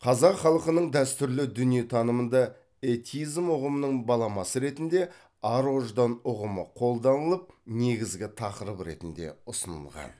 қазақ халқының дәстүрлі дүниетанымында этизм ұғымының баламасы ретінде ар ождан ұғымы қолданылып негізгі тақырып ретінде ұсынылған